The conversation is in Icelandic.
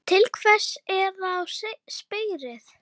Til hvers er þá spreyið?